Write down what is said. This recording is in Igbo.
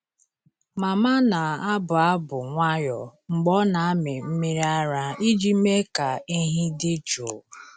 Mama na-abụ abụ nwayọọ mgbe ọ na-amị mmiri ara iji mee ka ehi dị jụụ.